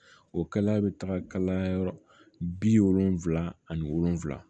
O kalaya be taga yɔrɔ bi wolonfila ani wolonfila